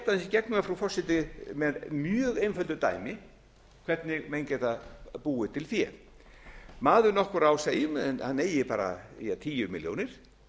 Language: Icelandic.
í gegnum það frú forseti með mjög einföldu dæmi hvernig menn geta búið til fé maður nokkur á segjum að hann eigi bara tíu milljónir